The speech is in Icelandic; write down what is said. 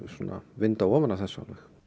vinda ofan af þessu